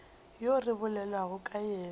yo re bolelago ka yena